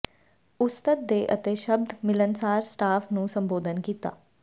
ਉਸਤਤ ਦੇ ਅਤੇ ਸ਼ਬਦ ਮਿਲਣਸਾਰ ਸਟਾਫ ਨੂੰ ਸੰਬੋਧਨ ਕੀਤਾ